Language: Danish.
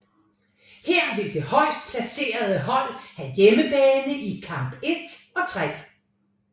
Her vil det højst placeret hold have hjemmebane i kamp 1 og 3